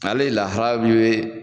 Ale lahara min be